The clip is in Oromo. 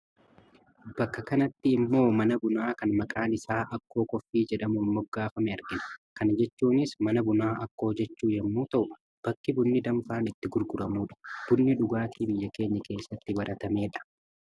Bakka kanatti immoo mana bunaa kan maqaan isaa 'Akkoo Coffee' jedhamuun moggafame argina. Kana jechuunis mana bunaa Akkoo jechuu yommuu ta'u bakki bunni danfaan itti gurguramudha. Bunni dhugaatii biyya keenya keessatti baratamedha.